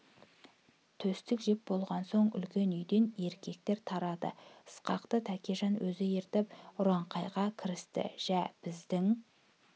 тұстік жеп болған соң үлкен үйден еркектер тарады ысқақты тәкежан өзі ертіп ұраңқайға кірісті жә біздің